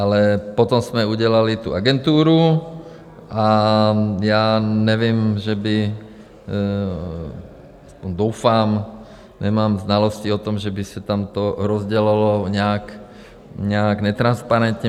Ale potom jsme udělali tu agenturu a já nevím, že by, aspoň doufám, nemám znalosti o tom, že by se tam to rozdělovalo nějak netransparentně.